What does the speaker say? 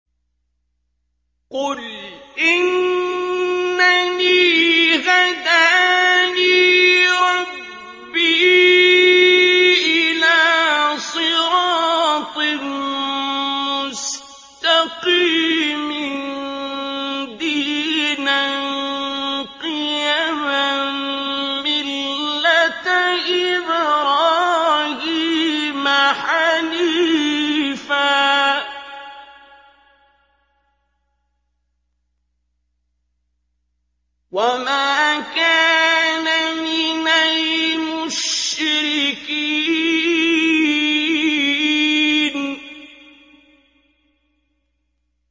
قُلْ إِنَّنِي هَدَانِي رَبِّي إِلَىٰ صِرَاطٍ مُّسْتَقِيمٍ دِينًا قِيَمًا مِّلَّةَ إِبْرَاهِيمَ حَنِيفًا ۚ وَمَا كَانَ مِنَ الْمُشْرِكِينَ